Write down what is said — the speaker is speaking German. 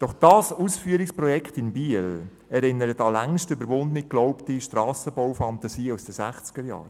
Doch das Ausführungsprojekt in Biel erinnert an längst überwunden geglaubte Strassenbaufantasien aus den 1960er-Jahren.